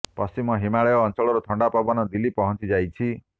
ପଶ୍ଚିମ ହିମାଳୟ ଅଞ୍ଚଳର ଥଣ୍ଡା ପବନ ଦିଲ୍ଲୀ ପହଞ୍ଚି ଯାଇଛି